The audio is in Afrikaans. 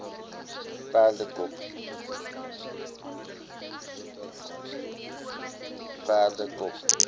perdekop